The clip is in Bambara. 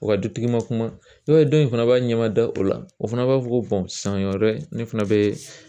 U ka dutigi ma kuma ye dɔw fana b'a ɲɛmada o la o fana b'a fɔ ko san wɛrɛ ne fana bɛ